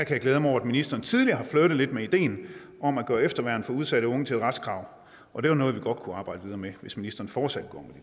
jeg glæde mig over at ministeren tidligere har flirtet lidt med ideen om at gøre efterværn for udsatte unge til et retskrav og det var noget vi godt kunne arbejde videre med hvis ministeren fortsat går